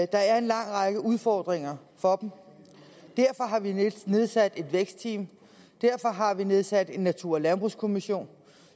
der er en lang række udfordringer for dem derfor har vi nedsat et vækstteam og derfor har vi nedsat en natur og landbrugskommission